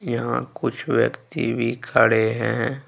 यहां कुछ व्यक्ति भी खड़े है।